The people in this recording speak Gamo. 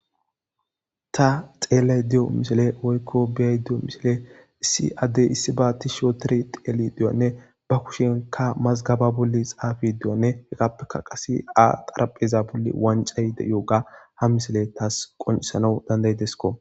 Ta xeellay de'o mishile woykko beyay de'o mishile issi addey issi baatti shootire xeele diyoanne ba kushenka mazgaba bolli xaafi de'anne heqappeka qase a xarapheza bolli wancayde yooga ha misile taas qonisana dandaydesko.